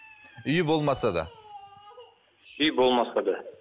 үйі болмаса да үйі болмаса да